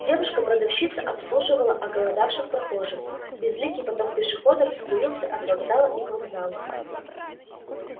девушка-продавщица обслуживала оголодавших прохожих безликий поток пешеходов струился от вокзала и к вокзалу